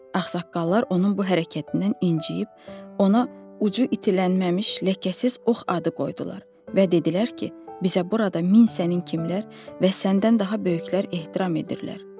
Ağsaqqallar onun bu hərəkətindən inciyib, ona ucu itilənməmiş ləkəsiz ox adı qoydular və dedilər ki, bizə burada min sənin kimlər və səndən daha böyüklər ehtiram edirlər.